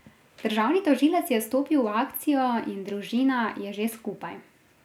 Državni tožilec je stopil v akcijo in družina je že skupaj.